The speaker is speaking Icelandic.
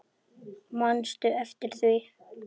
Manstu eftir því?